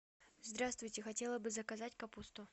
здравствуйте хотела бы заказать капусту